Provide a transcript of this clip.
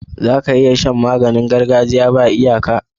Zaka iya Shan maganin gargajiya ba iyaka